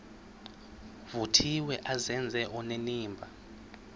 vuthiwe azenze onenimba